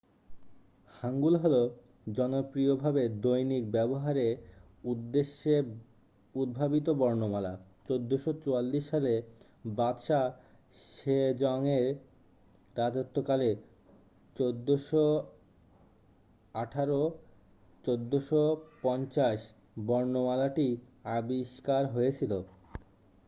হ্যাঙ্গুল হলো জনপ্রিয় ভাবে দৈনিক ব্যবহারে উদ্দেশ্যে উদ্ভাবিত বর্ণমালা। 1444 সালে বাদশা সেজংয়ের রাজত্বকালে 1418 - 1450 বর্ণমালাটি আবিষ্কার হয়েছিল।